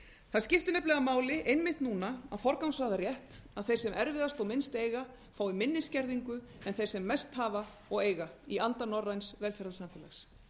það skiptir nefnilega máli einmitt núna að forgangsraða rétt að þeir sem erfiðast og minnst eiga fái minni skerðingu en þeir sem mest hafa og eiga í anda norræns velferðarsamfélags